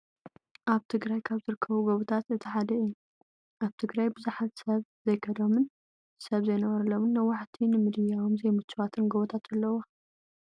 ኣብ ትግራይ ካብ ዝርከቡ ጎቦታት እቲ ሓደ እዩ። ኣብ ትግራይ ብዙሓት ሰብ ዘይከደሎምን ሰብ ዘይነብረሎምን ነዋሕቲ ንምድያቦም ዘይምችዋትን ጎቦታት ኣለውዋ።